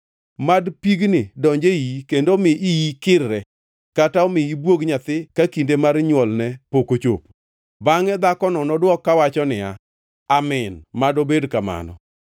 Mad pigni donj e iyi kendo omi iyi kirre kata omi ibwog nyathi ka kinde mar nywolne pok ochopo.” “ ‘Bangʼe dhakono nodwok kawacho niya, “Amin. Mad obed kamano.”